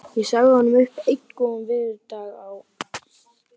Ég sagði honum upp einn góðan veðurdag á